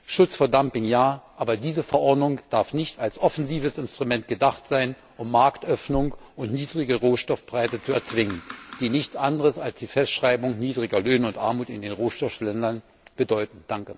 Schutz vor Dumping, ja, aber diese Verordnung darf nicht als offensives Instrument gedacht sein, um Marktöffnung und niedrige Rohstoffpreise zu erzwingen, die nichts anderes als die Festschreibung niedriger Löhne und Armut in den Rohstoffländern bedeuten.